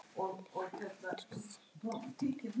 Lét aldrei sitt eftir liggja.